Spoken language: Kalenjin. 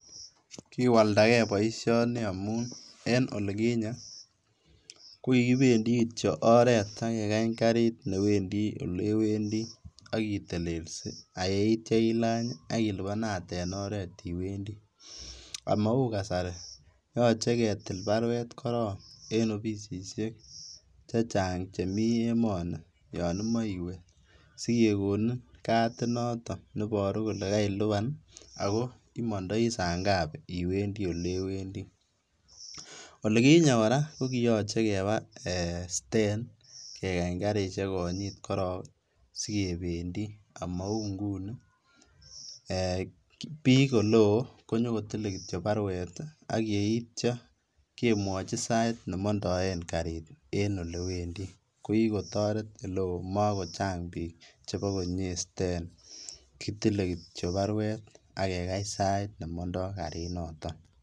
Kiwaldagei boisioni maun kinye kokikipendi kitiok oret ak kekany garit newendi olewendi ak kitelelsi ak yeitio ilany ilipanate en oret iwendi omou kasari yoche ketil baruet koron en opisisiek chechang' chemi emoni yon imoche iwe sikekonin katinoton neiboru kole keilipan ago imondoi saa ngapi iwendi olewendi. Olikinye kora kokiyoche keba siten kekany karisiek konyit koron sikependi omou nguni ee biik oleo konyokitile baruet ak yeitio kemwochi sait nemondoen karit en olewendi kokitoret oleo komakochang' biik chebo konyie siten kitile kitiok baruet ak kekany sait nemondo karinoton.